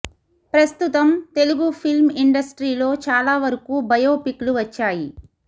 ప్రస్తుతం Telugu film industry లో చాలా వరకు బయోపిక్ లు వచ్చాయి